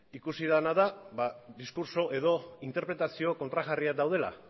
ikusi dena da diskurtso edo interpretazio kontrajarriak daudela